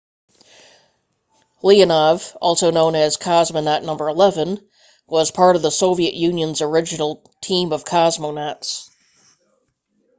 leonov also known as cosmonaut no 11 was part of the soviet union's original team of cosmonauts